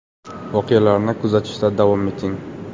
Voqealarni kuzatishda davom eting!